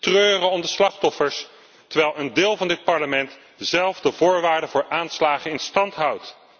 Treuren om de slachtoffers, terwijl een deel van dit Parlement zelf de voorwaarden voor aanslagen in stand houdt.